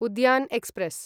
Udyan express